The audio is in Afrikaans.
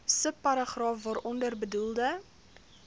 subparagraaf waaronder bedoelde